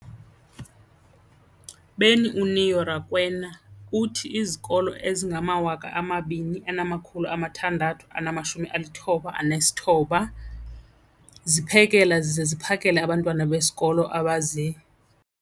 beni, uNeo Rakwena, uthi izikolo ezingama-20 619 ziphekela zize ziphakele abantwana besikolo abazi-